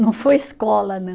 Não foi escola, não.